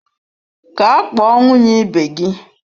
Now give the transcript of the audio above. Gaa kpọọ nwunye ibe gị!